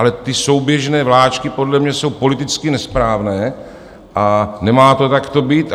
Ale ty souběžné vláčky podle mě jsou politicky nesprávné a nemá to takto být.